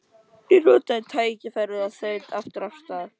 Ég notaði tækifærið og þaut aftur af stað.